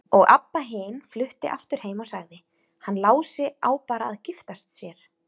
Og Abba hin flutti aftur heim og sagði: Hann Lási á bara að giftast sér.